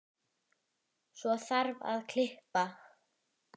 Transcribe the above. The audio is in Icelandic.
Svo þarf að kippa.